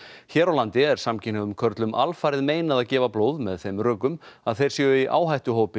hér á landi er samkynhneigðum körlum alfarið meinað að gefa blóð með þeim rökum að þeir séu í áhættuhópi